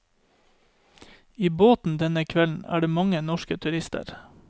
I båten denne kvelden er det mange norske turister.